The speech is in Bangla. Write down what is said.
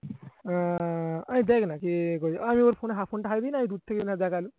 আহ আমি ওর phone এ phone টা দূর থেকে